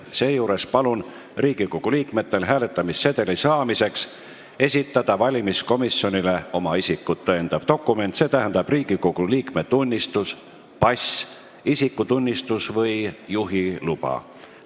Seejuures palun Riigikogu liikmetel hääletamissedeli saamiseks esitada valimiskomisjonile oma isikut tõendav dokument, st Riigikogu liikme tunnistus, pass, isikutunnistus või juhiluba.